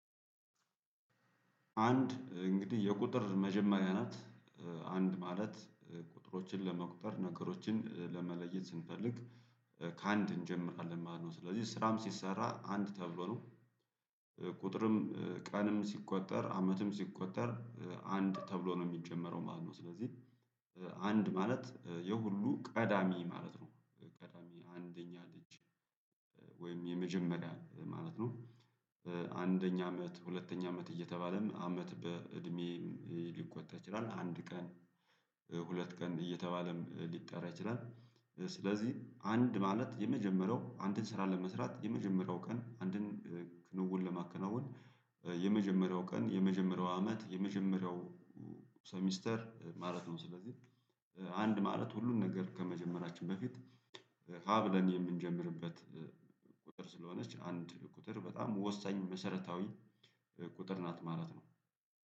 አንድ እንግዲህ የቁጥር መጀመሪያ ናት። አንድ ማለት ቁጥሮችን ለመቁጠር ነገሮችን ለመለየት ስንፈልግ ከአንድ እንጀምራለን ማለት ነው። ስለዚህ ስራም ሲሰራ አንድ ተብሎ ነው። አንድ እንግዲህ የቁጥር መጀመሪያ ናት። አንድ ማለት ቁጥሮችን ለመቁጠር ነገሮችን ለመለየት ስንፈልግ ከአንድ እንጀምራለን ማለት ነው። ስለዚህ ስራም ሲሰራ አንድ ተብሎ ነው። አመት በእድሜ ሊቆጣ ይችላል አንድ ቀን ሁለት ቀን እየተባለም ሊጠራ ይችላል። ስለዚህ አንድ ማለት የመጀመሪያው አንድን ስራ ለመስራት የመጀመሪያው ቀን አንድን ክንውን ለማከናወን የመጀመሪያው ቀን የመጀመሪያው አመት የመጀመሪያው ሰሚስተር ማለት ነው ስለዚህ አንድ ማለት ሁሉን ነገር ከመጀመራችን በፊት ሀ ብለን የምንጀምርበት ቁጥር ስለሆነች አንድ ቁጥር በጣም ወሳኝ መሰረታዊ ቁጥር ናት ማለት ነው።